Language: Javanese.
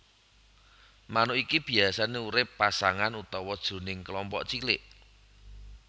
Manuk iki biasané urip pasangan utawa jroning kelompok cilik